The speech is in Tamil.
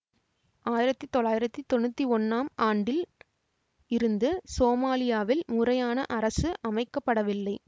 ஆயிரத்தி தொள்ளாயிரத்தி தொன்னூத்தி ஒன்னாம் ஆண்டில் இருந்து சோமாலியாவில் முறையான அரசு அமைக்கப்படவில்லை